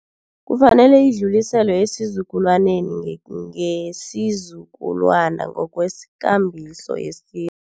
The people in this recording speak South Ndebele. Kufanele idluliselwe esizukulwaneni ngesizukulwana ngokwekambiso yesiko.